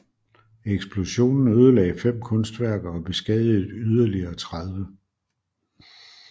Eksplosionen ødelagde fem kunstværker og beskadigede yderligere 30